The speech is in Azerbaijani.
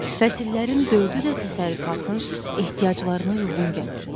Fəsillərin dördü də təsərrüfatın ehtiyaclarına uyğun gəlir.